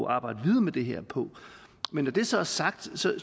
arbejde videre med det her på men når det så er sagt